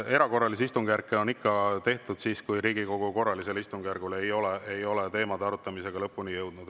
Erakorralisi istungjärke on ikka tehtud siis, kui Riigikogu korralisel istungjärgul ei ole teemade arutamisega lõpuni jõutud.